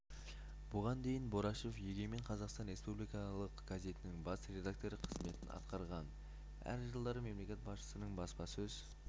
бұған дейін борашев егемен қазақстан республикалық газетінің бас редакторы қызметін атқарған әр жылдары мемлекет басшысының баспасөз